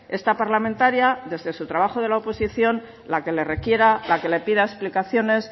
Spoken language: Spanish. está parlamentaria desde su trabajo de la oposición la que le requiera la que le pida explicaciones